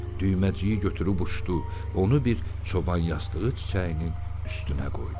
Düyməciyi götürüb uçdu, onu bir çoban yastığı çiçəyinin üstünə qoydu.